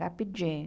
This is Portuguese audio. Rapidinho.